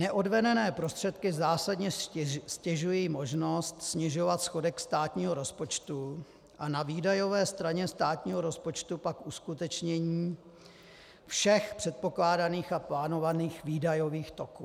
Neodvedené prostředky zásadně ztěžují možnost snižovat schodek státního rozpočtu a na výdajové straně státního rozpočtu pak uskutečnění všech předpokládaných a plánovaných výdajových toků.